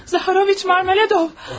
Zaharoviç Marmeladov!